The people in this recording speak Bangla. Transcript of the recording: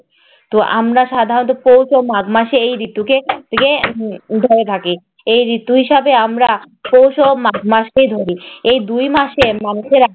তো আমরা সাধরণত তো মাঘ মাসে এই ঋতুকে রে ধরে থাকি। এই ঋতুর সাথে আমরা পৌষ ও মাঘ মাসকেই ধরি। এই দুই মাসে মানুষেরা